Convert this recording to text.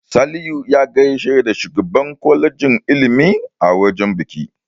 Salihu ya gaishe da shugaban kwalejin ilimi a wajen biki.